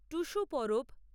Tusu Parab